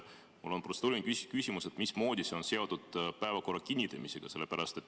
Mul on protseduuriline küsimus: mismoodi see on seotud päevakorra kinnitamisega?